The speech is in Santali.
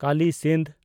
ᱠᱟᱞᱤ ᱥᱤᱱᱫᱷ